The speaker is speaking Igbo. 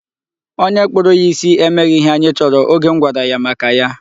Onye kpụrụ ya isi emeghị ihe anyị chọrọ oge m gwara ya maka ya.